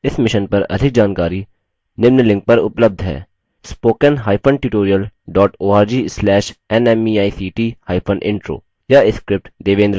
इस mission पर अधिक जानकारी के लिए उपलब्ध लिंक पर संपर्क करेंspoken hyphen tutorial dot org slash nmeict hyphen intro